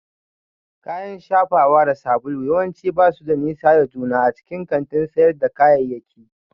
Kayan shafawa da sabulu yawanci ba su da nisa da juna a cikin kantin sayar da kayayyaki